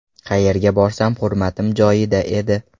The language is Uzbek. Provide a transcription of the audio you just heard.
Qayerga borsam hurmatim joyida edi.